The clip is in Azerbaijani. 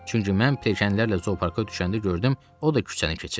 Çünki mən pirşenlərlə zooparka düşəndə gördüm, o da küçəni keçir.